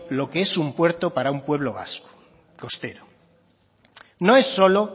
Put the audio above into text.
lo que es un puerto para un pueblo vasco costero no es solo